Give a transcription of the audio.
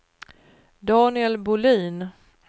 Daniel Bolin